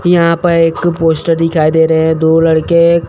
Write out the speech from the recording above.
यहां पर एक पोस्टर दिखाई दे रहे हैं दो लड़के--